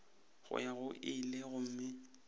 go ya go ile gomme